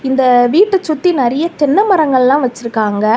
இந்த வீட்டு சுத்தி நறைய தென்ன மரங்கள்லாம் வச்சுருக்காங்க.